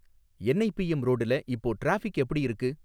NIPM ரோடுல இப்போ traffic எப்படி இருக்கு?